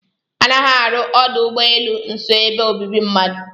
A naghị arụ ọdụ ụ́gbọ́elụ́ nso ebe obibi mmadu.